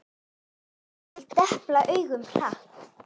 Ég depla augunum hratt.